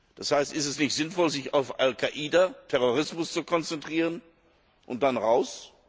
Das heißt, ist es nicht sinnvoll, sich auf Al Quaida und den Terrorismus zu konzentrieren und dann raus?